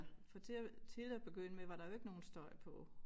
For til at til at begynde med var der jo ikke nogen støj på